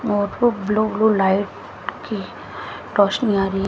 और वो blue blue light की रोशनी आ रही है।